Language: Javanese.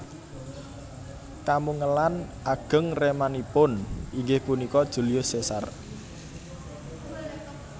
Kamungelan ageng ramanipun inggih punika Julius Caesar